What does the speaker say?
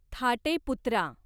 थाटे पुत्रा